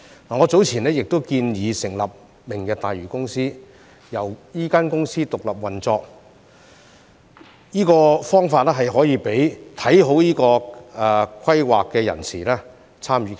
我早前亦建議成立明日大嶼公司，讓這公司獨立運作，這方法可以讓看好這個規劃的人士參與其中。